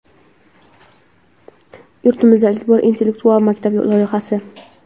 Yurtimizda ilk bor "Intellektual maktab" loyihasi!.